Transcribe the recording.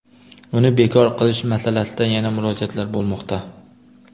uni bekor qilish masalasida yana murojaatlar bo‘lmoqda.